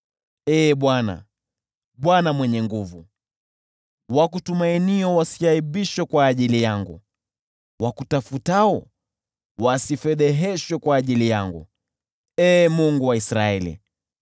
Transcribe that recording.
Ee Bwana, ewe Bwana Mwenye Nguvu Zote, wakutumainio wasiaibishwe kwa ajili yangu; wakutafutao wasifedheheshwe kwa ajili yangu, Ee Mungu wa Israeli.